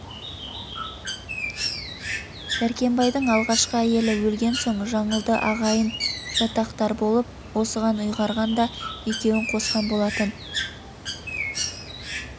дәркембайдың алғашқы әйелі өлген соң жаңылды ағайын жатақтар болып осыған ұйғарған да екеуін қосқан болатын